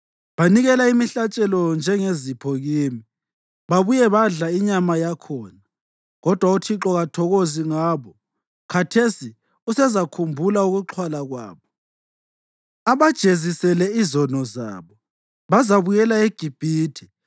Banikela imihlatshelo njengezipho kimi babuye badle inyama yakhona, kodwa uThixo kathokozi ngabo. Khathesi usezakhumbula ukuxhwala kwabo abajezisele izono zabo: Bazabuyela eGibhithe.